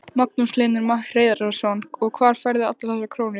Magnús Hlynur Hreiðarsson: Og hvar færðu allar þessar krónur?